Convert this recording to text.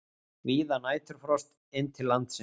Víða næturfrost inn til landsins